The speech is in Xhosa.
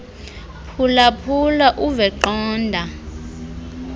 phulaphula uve qonda